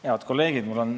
Head kolleegid!